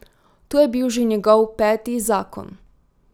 To je bil že njegov peti zakon.